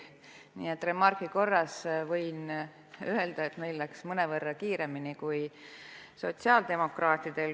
Remargi korras võin öelda, et meil läks mõnevõrra kiiremini kui sotsiaaldemokraatidel.